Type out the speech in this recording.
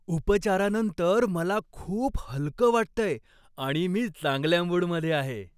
उपचारानंतर मला खूप हलकं वाटतंय आणि मी चांगल्या मूडमध्ये आहे.